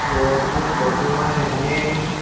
और ये फोटो माइन हमे --